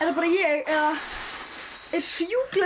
bara ég eða er sjúklega